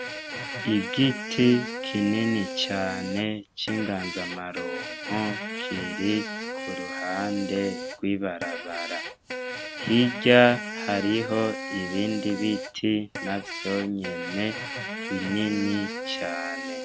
Igiti kinini Cane cingazamarumbo Kiri kuruhande rwi barabara hirya hariho ibindi biti navyonyene binini cane.